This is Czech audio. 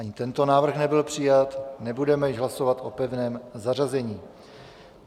Ani tento návrh nebyl přijat, nebudeme již hlasovat o pevném zařazení.